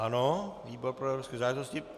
Ano, výbor pro evropské záležitosti.